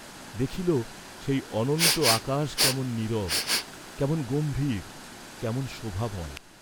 দেখিল সেই অনন্ত আকাশ কেমন নীরব, কেমন গম্ভীর, কেমন শোভাময়।